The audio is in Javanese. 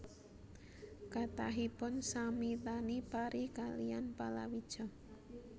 Kathahipun sami tani pari kaliyan palawija